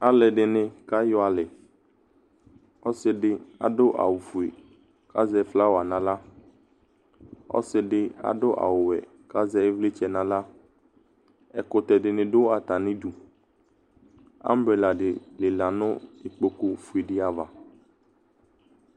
Alʋɛdɩnɩ kayɔ alɛ Ɔsɩ dɩ adʋ awʋfue kʋ azɛ flawa nʋ aɣla Ɔsɩ dɩ adʋ awʋwɛ kʋ azɛ ɩvlɩtsɛ nʋ aɣla Ɛkʋtɛ dɩnɩ dʋ atamɩdu Ambrela dɩ lɩla nʋ ikpokufue dɩ ava